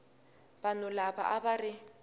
vanhu lava a va ri